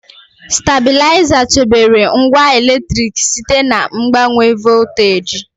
Stabịlaịza chebere ngwa eletriki site na mgbanwe volteji.